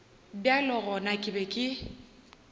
bjale gona ke be ke